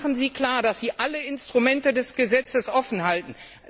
Machen Sie klar, dass Sie alle Instrumente des Gesetzes offenhalten.